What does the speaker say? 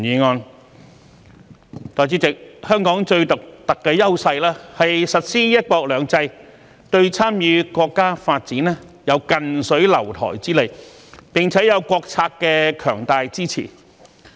代理主席，香港最獨特的優勢是實施"一國兩制"，對參與國家發展有近水樓台之利，並且有國策的強大支持。